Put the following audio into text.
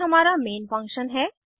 यह हमारा main function है